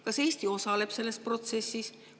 Kas Eesti osaleb selles protsessis?